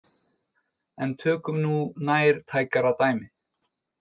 En tökum nú nærtækara dæmi.